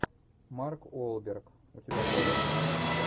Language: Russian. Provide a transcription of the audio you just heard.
марк уолберг у тебя найдется